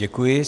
Děkuji.